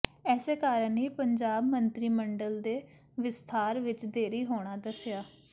ਇਸੇ ਕਾਰਨ ਹੀ ਪੰਜਾਬ ਮੰਤਰੀ ਮੰਡਲ ਦੇ ਵਿਸਥਾਰ ਵਿਚ ਦੇਰੀ ਹੋਣਾ ਦੱਸਿਆ